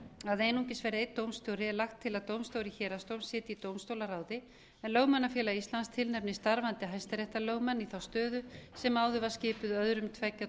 að einungis verði einn dómstjóri er lagt til að dómstjóri héraðsdóms sitji í dómstólaráði en lögmannafélag íslands tilnefnir starfandi hæstaréttarlögmann í þá stöðu sem áður var skipuð af öðrum tveggja